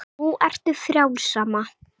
Nú ertu frjáls, amma.